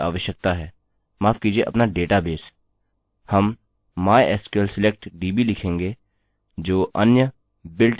हम mysql select db लिखेंगे जो अन्य builtin function है जब आपके पास php मॉड्यूल संस्थापित हो जाता है